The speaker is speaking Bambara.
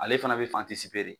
Ale fana bɛ de